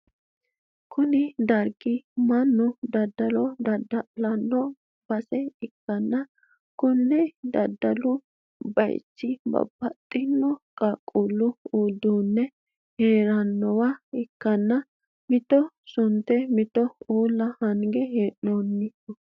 konne darga mannu daddalo dadda'lanni noo base ikkanna, kuni daddalu bayichino babbaxxino qaaqqullu uduunne hirranniwa ikkanna, mito sunte mito uulla hange hee'noonniho.